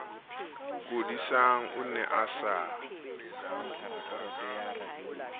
kodisang o ne a sa